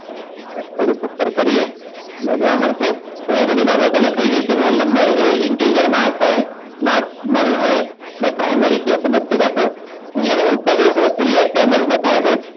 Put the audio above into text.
થોડુંક ઉપર કરીએ તમને જોવા મળશે અહીંયા બધી બાબતો લખાઈ ગઈ કે roll number એ integer માં હશે note null હોય એને primary key તો બધું જ આપણે અહીંયા થી હું ઉપર જઈશ તો create table બતાવે છે